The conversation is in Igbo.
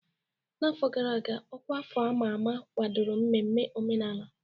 N'afọ gara aga, ọkwa afọ a ma ama kwadoro mmemme omenala.